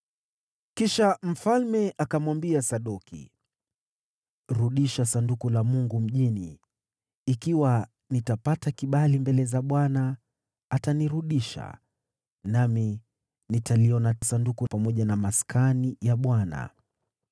Kisha mfalme akamwambia Sadoki, “Rudisha Sanduku la Mungu mjini. Ikiwa nitapata kibali mbele za Bwana , atanirudisha, nami nitaliona Sanduku hili tena pamoja na Maskani yake.